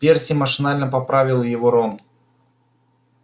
перси машинально поправил его рон